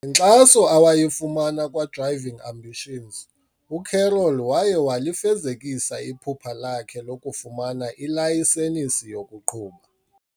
Ngenkxaso awayifumana kwa-Driving Ambitions, uCarol waye walifezekisa iphupha lakhe lokufumana ilayisenisi yokuqhuba.